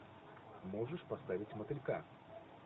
можешь поставить мотылька